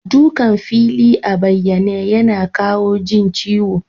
Dukan fili a bayyane yana kawa jin ciwo.